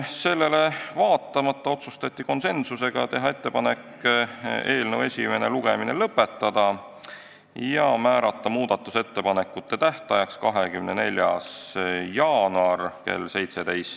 Sellele vaatamata otsustati konsensuslikult, et tehakse ettepanekud eelnõu esimene lugemine lõpetada ja määrata muudatusettepanekute esitamise tähtajaks 24. jaanuar kell 17.